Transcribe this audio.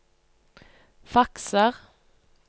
fakser